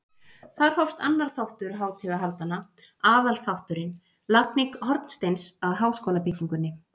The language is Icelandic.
Þar hófst annar þáttur hátíðahaldanna- aðalþátturinn- lagning hornsteins að háskólabyggingunni.